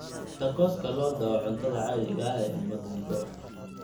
Tacos-ka lo'da waa cuntada caadiga ah ee Mexico.